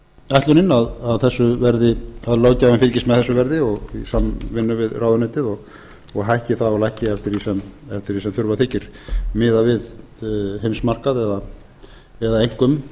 ætlunin að löggjafinn fylgist með þessu verði í samvinnu við ráðuneytið og hækki það og lækki eftir því sem þurfa þykir miðað við heimsmarkað eða einkum